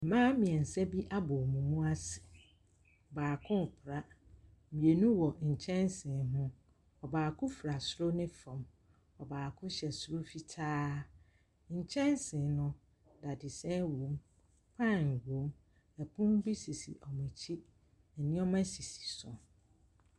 Mbaa mmiɛnsa bi abɔ wwɔn mu ase, baako repra, mmienu wɔ nkyɛnse ho. Ɔbaako fura soro ne fam, ɔbaako hyɛ soro fitaa. Nkyɛnse no, dadesɛn wɔm, pan wɔm. Pono bi sisi wɔn akyi, nneɛma sisi so.